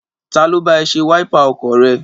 Ta ló bá ẹ ṣe wáípà ọkọ̀ rẹ?